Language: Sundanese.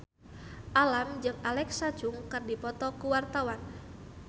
Alam jeung Alexa Chung keur dipoto ku wartawan